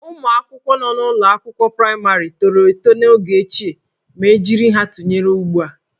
Ụmụ akwụkwọ nọ n'ụlọ akwụkwọ praịmarị tọrọ eto n'oge ochie ma e jiri ya tụnyere ugbu a